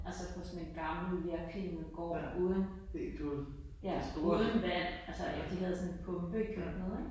Altså på sådan en gammel vejrpinet gård uden uden ja vand altså de havde sådan en pumpe ude i køkkenet ik